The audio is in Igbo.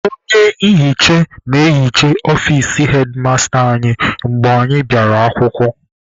Onye nhicha na-ehicha ọfici hedmasta anyị mgbe anyị bịara akwụkwọ.